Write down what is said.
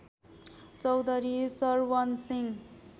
Chaudhary Sarwan Singh